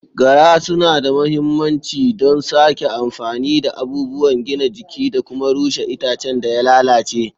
Gara suna da mahimmanci don sake amfani da abubuwan gina jiki da kuma rushe itacen da ya lalace.